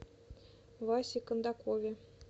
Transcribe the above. васе кондакове